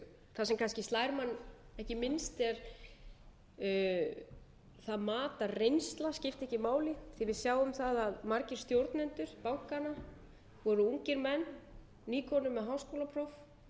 það sem kannski slær mann ekki minnst er það mat að reynsla skipti ekki máli þegar við sjáum það að margir stjórnendur bankanna voru ungir menn nýkomnir með háskólapróf hugsanlega mba gráðu þeir höfðu svipaðan